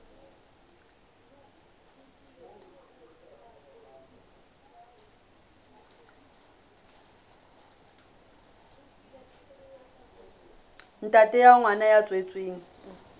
ntate wa ngwana ya tswetsweng